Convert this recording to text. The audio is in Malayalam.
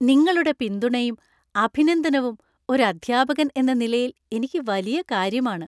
നിങ്ങളുടെ പിന്തുണയും അഭിനന്ദനവും ഒരു അദ്ധ്യാപകൻ എന്ന നിലയിൽ എനിക്ക് വലിയ കാര്യമാണ്.